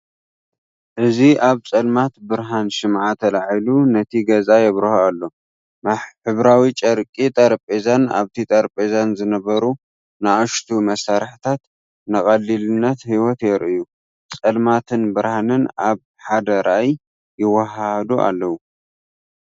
እዚ ኣብ ጸልማት ብርሃን ሽምዓ ተላዒሉ ነቲ ገዛ የብርሆ ኣሎ። ሕብራዊ ጨርቂ ጠረጴዛን ኣብቲ ጠረጴዛ ዝነበሩ ንኣሽቱ መሳርሒታትን ንቐሊልነት ህይወት የርእዩ። ጸልማትን ብርሃንን ኣብ ሓደ ራእይ ይወሃሃዱ ኣለው።